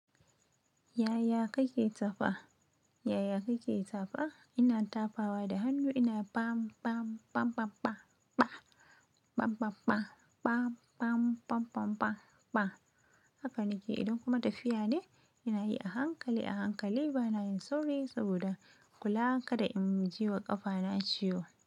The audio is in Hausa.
Yaya kake tafa? Yaya kake tsafa? Ina tafawa da hannu ina pam, pam, pam, pam, pam, pa, pam, pam, pam, pam, pam, pam, pam, pam, pa. Haka nake idan kuma tafiya ne, ina yi a hankali, a hankali bana yin sauri saboda kula kada in ji wa ƙafa na ciwo.